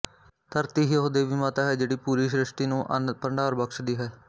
ਧਰਤੀ ਹੀ ਉਹ ਦੇਵੀ ਮਾਤਾ ਹੈ ਜਿਹੜੀ ਪੂਰੀ ਸ਼ਿ੍ਸ਼ਟੀ ਨੂੰ ਅੰਨ ਭੰਡਾਰ ਬਖ਼ਸ਼ਦੀ ਹੈ